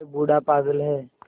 यह बूढ़ा पागल है